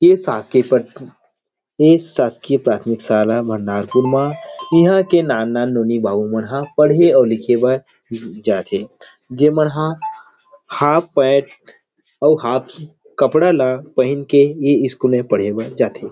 इ शासकीय प्राथमिक ऐ शासकीय प्राथमिक साला मा ईहा के नान नान नोनी बाबू मन हा पढ़े अऊ लिखे बर जा थे जे मन हा हाफ पैंट और हाफ कपड़ा ला पहिन के इ स्कूल में पढ़े बार जा थे।